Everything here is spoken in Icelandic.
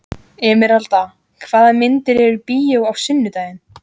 Emeralda, hvaða myndir eru í bíó á sunnudaginn?